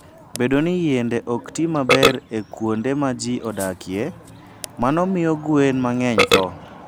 Bedo ni yiende ok ti maber e kuonde ma ji odakie, mano miyo gwen mang'eny tho.